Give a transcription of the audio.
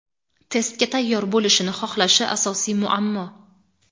testga tayyor bo‘lishini xohlashi – asosiy muammo.